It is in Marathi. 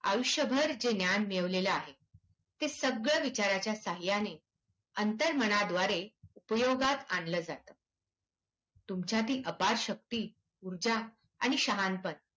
आयुष्यभर जे ज्ञान मिळवलेल आहे, ते सगळं विचाराच्या साहायाने अंतर्मनाद्वारे उपयोगात आणलं जातं. तुमच्यातील अपार शक्ती तुमच्या आणि शहाणपण